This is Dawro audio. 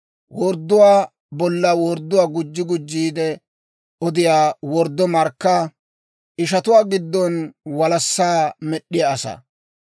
wordduwaa bolla wordduwaa gujji gujjiide odiyaa worddo markkaa, ishatuwaa giddon walassaa med'd'iyaa asaa.